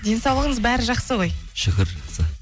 денсаулығыңыз бәрі жақсы ғой шүкір жақсы